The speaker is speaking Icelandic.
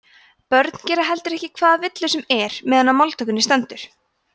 börn gera heldur ekki hvaða villu sem er meðan á máltökunni stendur